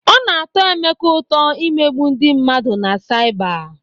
Ọ na-atọ Emeka ụtọ imegbu ndị mmadụ na saịba.